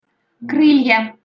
крылья